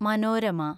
Manorama